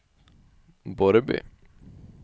Borrby